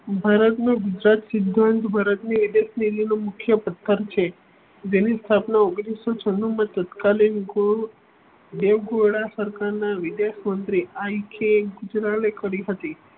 ભારત નો ગુજરાત સિદ્ધાંત ભારત એડેટસેલીનો મુખ્ય પથ્થર છે. તેની સ્થાપના ઓગણીસો છણું માં તત્કાલીન દેવગહોરડા સરકાર ના વિદેશ મંત્રી આઈ કે ગુજરાલે કરી હતી.